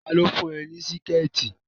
Tá lo fún ẹ ní Síkẹ̀tí!